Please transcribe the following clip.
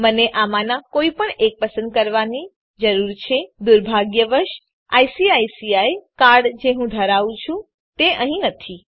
મને આમાંના કોઈપણ એકને પસંદ કરવાની જરૂર છે દુર્ભાગ્યવશ આઇસીઆઇસીઆઇ કાર્ડ જે હું ધરાવું છું તે અહીં નથી